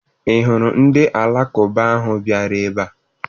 Ị hụrụ ndị Alakụba ahụ bịara ebe a?